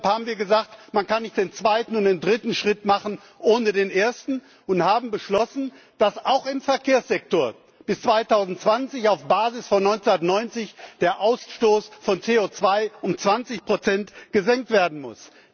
Deshalb haben wir gesagt, man kann nicht den zweiten und dritten Schritt machen ohne den ersten, und haben beschlossen, dass auch im Verkehrssektor bis 2020, auf Basis von 1990, der Ausstoß von CO2 um 20 gesenkt werden muss.